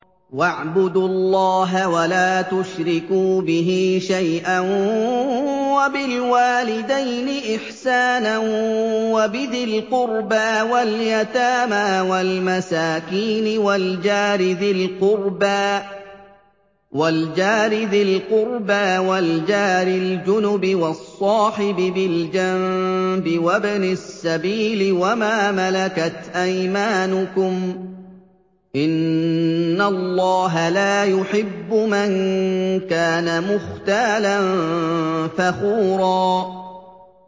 ۞ وَاعْبُدُوا اللَّهَ وَلَا تُشْرِكُوا بِهِ شَيْئًا ۖ وَبِالْوَالِدَيْنِ إِحْسَانًا وَبِذِي الْقُرْبَىٰ وَالْيَتَامَىٰ وَالْمَسَاكِينِ وَالْجَارِ ذِي الْقُرْبَىٰ وَالْجَارِ الْجُنُبِ وَالصَّاحِبِ بِالْجَنبِ وَابْنِ السَّبِيلِ وَمَا مَلَكَتْ أَيْمَانُكُمْ ۗ إِنَّ اللَّهَ لَا يُحِبُّ مَن كَانَ مُخْتَالًا فَخُورًا